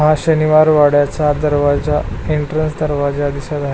हा शनिवार वाड्याचा दरवाजा एंट्रेन्स दरवाजा दिसत आहे.